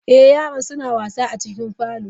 Eh yaran suna wasa a cikin parlour.